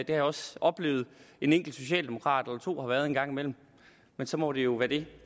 jeg også oplevet at en enkelt socialdemokrat eller to har været en gang imellem men så må det jo være det